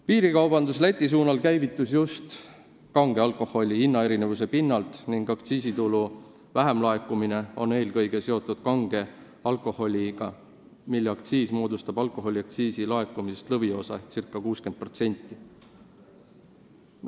Piirikaubandus Läti suunal käivitus just kange alkoholi hinnaerinevuse pinnalt ning aktsiisitulu väiksem laekumine on eelkõige seotud kange alkoholiga, mille aktsiis moodustab alkoholiaktsiisi laekumisest lõviosa ehk circa 60%.